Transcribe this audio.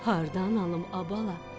Hardan alım ay bala?